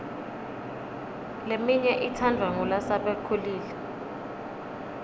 leminye itsandvwa ngulasebakhulile